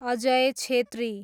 Ajay Chhetri